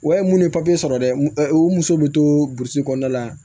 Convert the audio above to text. Wa ye mun ye sɔrɔ dɛ u muso bɛ to burusi kɔnɔna la